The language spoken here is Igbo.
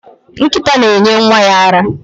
Nkita na enye Nwa ya ara